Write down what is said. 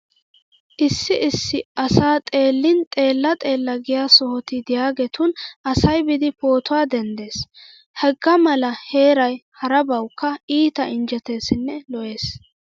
Issi issi asa xeellin xeella xeella giya sohoti diyageetun asay biidi pootuwa denddees. Hegaa mala heeray harabawukka iita injjeteesinne lo'ees.